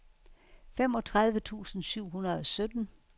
femogtredive tusind syv hundrede og sytten